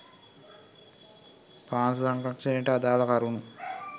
පාංශු සංරක්‍ෂණයට අදාල කරුණු